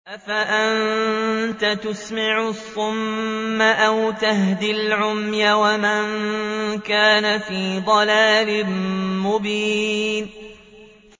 أَفَأَنتَ تُسْمِعُ الصُّمَّ أَوْ تَهْدِي الْعُمْيَ وَمَن كَانَ فِي ضَلَالٍ مُّبِينٍ